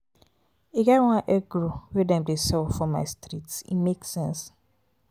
e get one egg roll wey dem dey sell for my street e make sense.